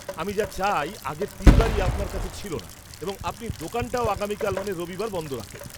আমি যা চাই আগের তিনবারই আপনার কাছে ছিল না এবং আপনি দোকানটাও আগামীকাল মানে রবিবার বন্ধ রাখেন।